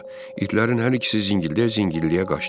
İtlərin hər ikisi zıngıldaya-zıngıldaya qaçdı.